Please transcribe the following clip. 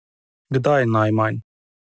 Kdaj najmanj?